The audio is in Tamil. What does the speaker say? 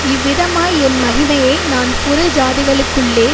இவ்விதமாய் என் மகிமையை நான் புறஜாதிகளுக்குள்ளே